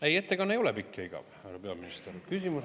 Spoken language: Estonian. Ei, ettekanne ei ole pikk ja igav, härra peaminister.